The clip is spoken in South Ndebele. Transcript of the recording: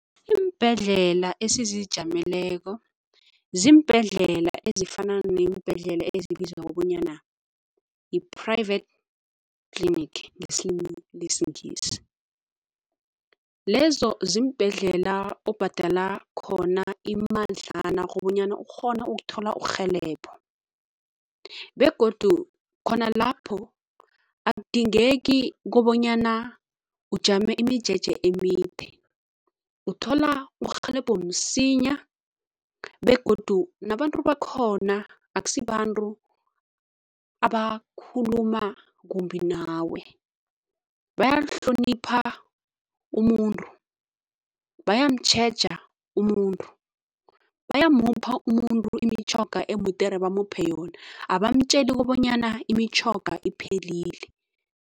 Iimbhedlela esizijameleko ziimbhedlela ezifana neembhedlela ezibizwa kobonyana yi-private clinic ngesilimi lesiNgisi. Lezo ziimbhesi indlela obhadala khona imadlana kobanyana ukghone ukuthola urhelebho begodu khona lapho akudingeki kobonyana ujame imijeje emide. Uthola urhelebho msinya begodu nabantu bakhona akusibantu abakhuluma kumbi nawe, bayamhlonipha umuntu, bayamtjheja umuntu, bayamupha umuntu imitjhoga emudere bamuphe yona abamtjeli kobanyana imitjhoga iphelile.